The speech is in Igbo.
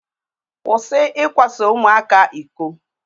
Kwụsị ikwaso ụmụaka iko.